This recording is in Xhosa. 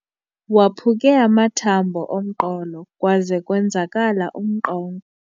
Waphuke amathambo omqolo kwaze kwenzakala umnqonqo.